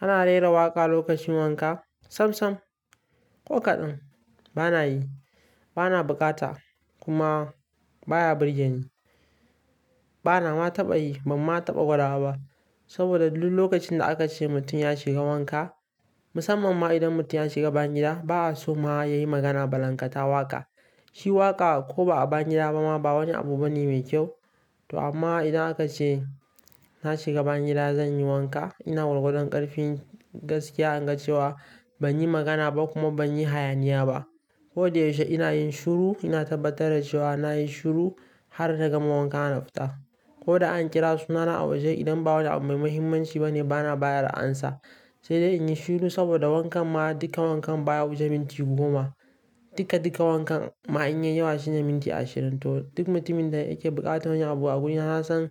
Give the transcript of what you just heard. Ana rera waƙa lokacin wanka? Sam sam, ko kaɗan. Bana yi, bana bukata kuma baya birgen ni. Bana ma taɓa yi bam ma taɓa gwada ba. Saboda duk lokacin da aka ce mutum ya shiga wanka, musamman ma idan mutum ya shiga bayan gida, ba a so ma ya yi magana ba. Lanƙata waƙa shi waƙa ko ba a bayan gida ba ma ba wani abu bane mai kyau. To amma idan aka ce na shiga ba yan gida zan yi wanka, ina gwargwadon ƙarfin gaskiya in ga cewa ban yi magana ba kuma ban yi hayaniya ba. Ko da yaushe ina yin shiru, ina tabbatar da cewa na yi shiru har na gama wanka na fita. Ko da an kira sunana a waje idan ba wani abu mai mahimmanci bane bana bayar da amsa, sai dai in yi shiru saboda wankan ma dukkan wankan baya wuce minti goma. Dika dika wankan ma in yi yawa shine minti ashirin. To duk mutumin da yake buƙatar yin abu a guri na san